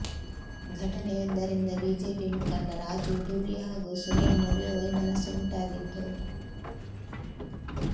ಘಟನೆಯೊಂದರಿಂದ BJP ಮುಖಂಡ ರಾಜೂ ಧೂಳಿ ಹಾಗೂ ಸುನೀಲ್ ನಡುವೆ ವೈಮನಸ್ಸು ಉಂಟಾಗಿದ್ದು